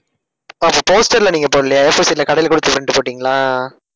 அப்ப poster ல நீங்க போடலையா? A4 sheet ல கடையில கொடுத்து print போட்டீங்களா?